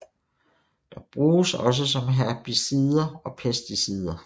De bruges også som herbicider og pesticider